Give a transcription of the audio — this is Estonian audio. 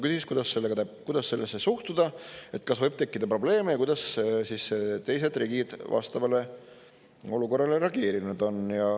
Küsis, kuidas sellesse suhtuda, kas võib tekkida probleeme ja kuidas teised riigid vastavale olukorrale reageerinud on.